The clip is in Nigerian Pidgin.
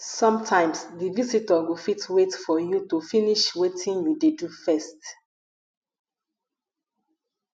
sometimes di visitor go fit wait for you to finish wetin you dey do first